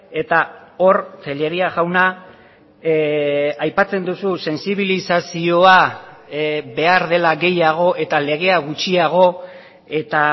eta hor tellería jauna aipatzen duzu sentsibilizazioa behar dela gehiago eta legea gutxiago eta